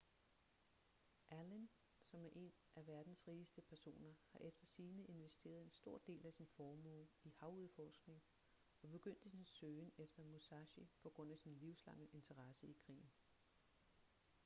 allen som er en af verdens rigeste personer har efter sigende investeret en stor del af sin formue i havudforskning og begyndte sin søgen efter musashi på grund af sin livslange interesse i krigen